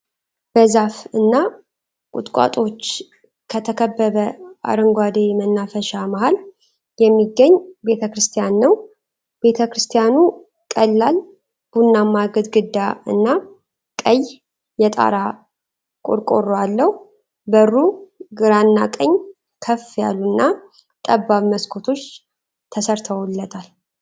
በዛፍ እና ቁጥቋጦዎች ከተከበበ አረንጓዴ መናፈሻ መሃል የሚገኝ ቤተ-ክርስቲያን ነው። ቤተ-ክርስቲያኑ ቀላል ቡናማ ግድግዳ እና ቀይ የጣራ ቆርቆሮ አለው። በሩ ግራና ቀኝ ከፍ ያሉና ጠባብ መስኮቶች ተሰርተውለታል።